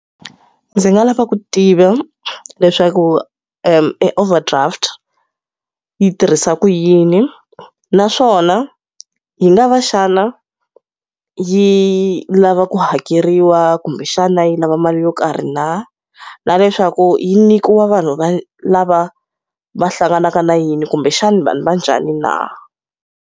Ndzi nga lava ku tiva leswaku e overdraft yi tirhisa ku yini. Naswona yi nga va xana yi lava ku hakeriwa kumbexana yi lava mali yo karhi na? Na leswaku yi nyikiwa vanhu va lava va hlanganaka na yini kumbexani vanhu va njhani na?